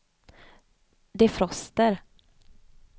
defroster